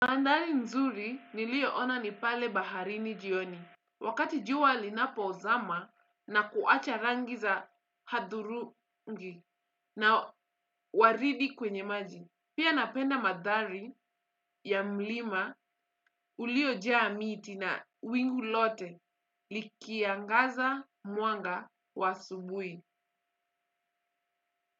Mandhari nzuri nilioona ni pale baharini jioni. Wakati jua linapozama na kuacha rangi za hudhurungi na waridi kwenye maji. Pia napenda madhari ya mlima uliojaa miti na wingu lote likiangaza mwanga wa asubuhi.